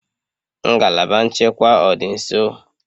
Ngalaba nchekwa ọ dị nso?